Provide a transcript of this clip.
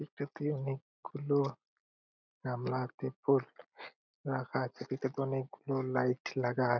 এটাতে অনেকগুলো গামলা ত্রিপল রাখা আছে | এটাতে অনেকগুলো লাইট লাগা আ--